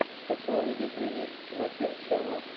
хочу увидеть ремикс жакир ченэл